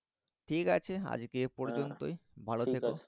ঠিক আছে আজকে এই ভালো